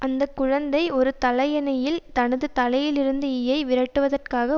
அந்த குழந்தை ஒரு தலையணையில் தனது தலையிலிருந்து ஈயை விரட்டுவதற்காக